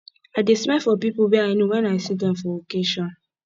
i dey smile for pipo wey i know wen i see dem for occasion